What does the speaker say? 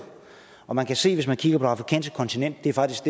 og man kan se hvis man kigger på det afrikanske kontinent